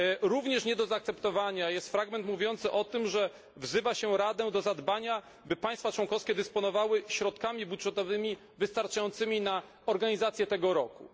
Również nie do zaakceptowania jest fragment mówiący o tym, że wzywa się Radę do zadbania, by państwa członkowskie dysponowały środkami budżetowymi wystarczającymi na organizację tego roku.